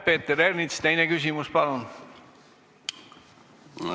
Peeter Ernits, teine küsimus palun!